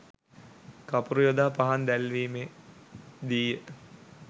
කපුරු යොදා පහන් දැල්වීමේ දී ය